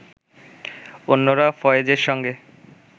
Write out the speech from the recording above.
অন্যরা ফয়েজের সঙ্গে